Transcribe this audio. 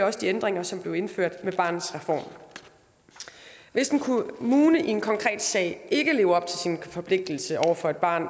også de ændringer som blev indført med barnets reform hvis en kommune i en konkret sag ikke lever op til sine forpligtelser over for et barn